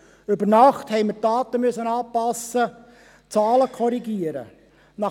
Über Nacht haben wir die Daten anpassen und die Zahlen korrigieren müssen.